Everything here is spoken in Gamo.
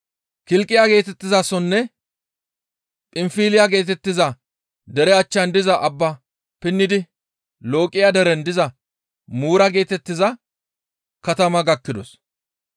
Kilqiya geetettizasonne Phinfiliya geetettiza dere achchan diza abbaa pinnidi Looqiya deren diza Muura geetettiza katama gakkidos.